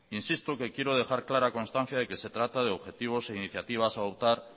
insisto que quiero dejar clara constancia de que se trata de objetivos e iniciativas a adoptar